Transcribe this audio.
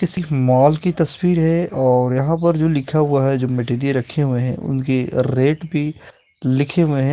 किसी मॉल की तस्वीर है और यहाँ पर जो लिखा हुआ है जो मैटेरियल रखे हुए हैं उनकी रेट भी लिखे हुए हैं।